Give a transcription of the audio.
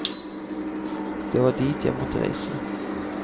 Det var dit jeg måtte reise.